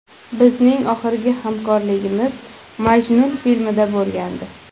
Bizning oxirgi hamkorligimiz ‘Majnun’ filmida bo‘lgandi.